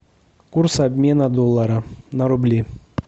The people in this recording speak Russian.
курс обмена доллара на рубли